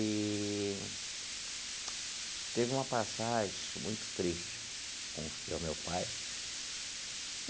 Eee teve uma passagem muito triste com o senhor meu pai.